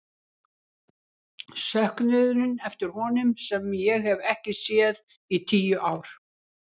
Söknuðinn eftir honum sem ég hef ekki séð í tíu ár.